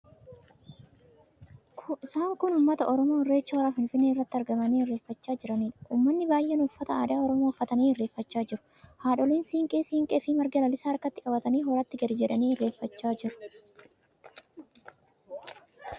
Isaan kun uummata Oromoo Irreecha hora Finfinnee irratti argamanii irreeffachaa jiraniidha. Uummatni baay'een uffata aadaa Oromoo uffatanii irreeffachaa jiru. Haadholiin siinqee siinqee fi marga lalisaa harkatti qabatanii horatti gadi jedhanii irreeffachaa jiru.